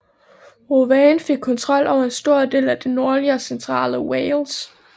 Owain fik kontrol over en stor del af det nordlige og centrale Wales